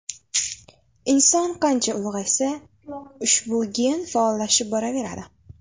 Inson qancha ulg‘aysa, ushbu gen faollashib boraveradi.